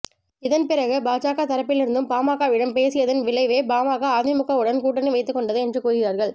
இதன் பிறகு பாஜக தரப்பிலிருந்தும் பாமகவிடம் பேசியதன் விளைவே பாமக அதிமுகவுடன் கூட்டணி வைத்துக் கொண்டது என்று கூறுகிறார்கள்